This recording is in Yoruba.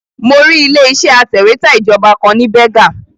Mo rí ilé iṣẹ́ atẹ̀wẹ́tà ìjọba kan ní Berger